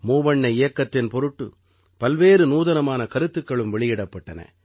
மூவண்ண இயக்கத்தின் பொருட்டு பல்வேறு நூதனமான கருத்துக்களும் வெளியிடப்பட்டன